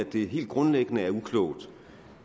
det helt grundlæggende er uklogt